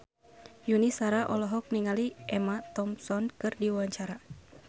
Yuni Shara olohok ningali Emma Thompson keur diwawancara